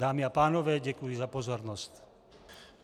Dámy a pánové, děkuji za pozornost.